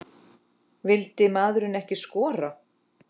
Vildi maðurinn ekki skora?